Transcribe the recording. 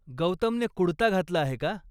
गौतमने कुडता घातला आहे का?